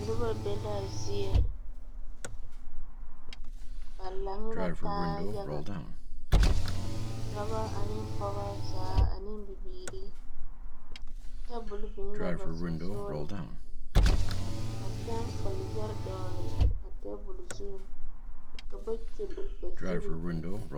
Noba belaa zieŋ ba laŋ la taa yaga dɔba ane pɛgeba zaa ane bibiiri tabol biŋ la ba sɔŋsɔliŋ ka pɛŋ kpal yɛre dɔgle a tabol zu ka ba kyul ba zuri eŋ.